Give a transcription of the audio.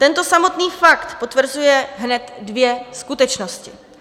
Tento samotný fakt potvrzuje hned dvě skutečnosti.